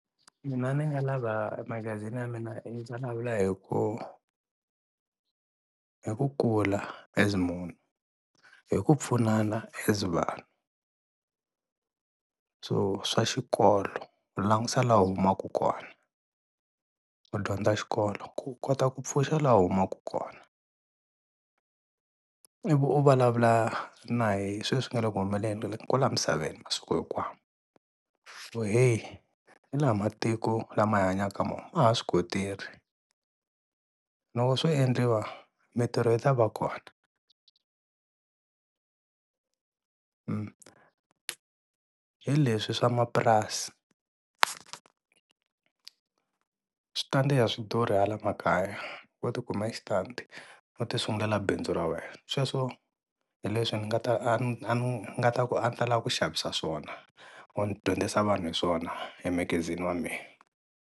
Mina ni nga lava magazini ya mina i ndzi vulavula hi ku hi ku kula as munhu, hi ku pfunana as vanhu so swa xikolo u langusa laha u humaka kona u dyondza xikolo ku u kota ku pfuxa laha u humaka kona. Ivi u vulavula na hi sweswi nga le ku humelelni kwala misaveni masiku hinkwawo, ku heyi hi, lawa matiko lama hi hanyaka ka wona ma loko swo endliwa mintirho yi tava kona. Hi leswi swa mapurasi, switandi a swi durhi hala makaya wo ti kumela xitandi, ho ti sungulela bindzu ra wena sweswo hi leswi ni nga ta a ni ta lava ku xavisa swona or ni dyondzisa vanhu hi swona emagazini wa mehe.